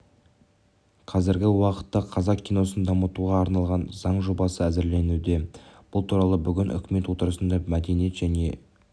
қазіргі уақытта қазақ киносын дамытуға арналған заң жобасы әзірленуде бұл туралы бүгін үкімет отырысында мәдениет және